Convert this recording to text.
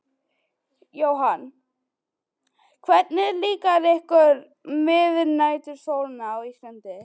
Jóhann: Hvernig líkar ykkur miðnætursólin á Íslandi?